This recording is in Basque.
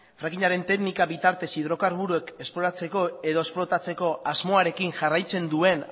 frackingaren teknikaren bitartez hidrokarburoak esploratzeko edo esplotatzeko asmoarekin jarraitzen duen